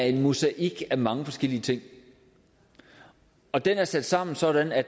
en mosaik af mange forskellige ting og den er sat sammen sådan at